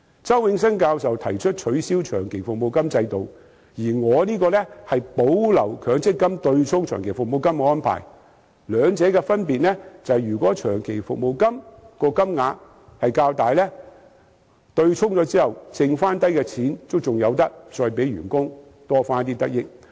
周永新教授提出取消長期服務金制度，而我的修正案則建議保留強積金對沖長期服務金的安排；兩者的分別是，根據我的建議，如果長期服務金的金額較大，對沖後剩餘的錢可以令員工有所得益。